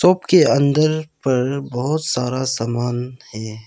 के अंदर पर बहुत सारा सामान है।